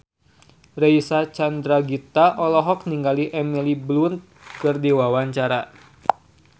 Reysa Chandragitta olohok ningali Emily Blunt keur diwawancara